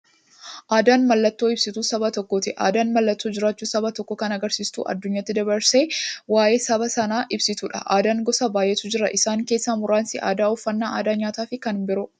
Aadaan mallattoo ibsituu saba tokkooti. Aadaan mallattoo jiraachuu saba tokkoo kan agarsiistuufi addunyaatti dabarsitee waa'ee saba sanaa ibsituudha. Aadaan gosa baay'eetu jira. Isaan keessaa muraasni aadaa, uffannaa aadaa nyaataafi kan biroo.